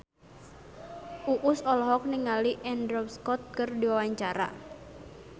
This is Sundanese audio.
Uus olohok ningali Andrew Scott keur diwawancara